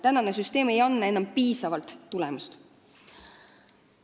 Praegune süsteem ei anna piisavalt tulemust.